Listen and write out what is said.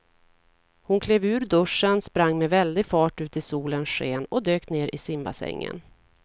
Hon klev ur duschen, sprang med väldig fart ut i solens sken och dök ner i simbassängen.